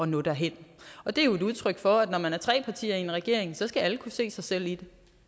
nå derhen og det er jo et udtryk for at når man er tre partier i en regering skal alle kunne se sig selv i